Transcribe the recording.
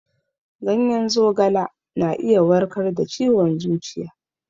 Ganyen zogala na iya warkar da ciwon zuciya.